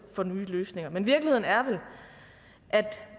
for nye løsninger men virkeligheden er at